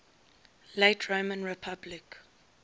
late roman republic